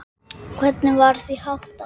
Hvernig var því háttað?